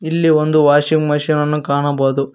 ಇಲ್ಲಿ ಒಂದು washing machine ಅನ್ನು ಕಾಣಬಹುದು.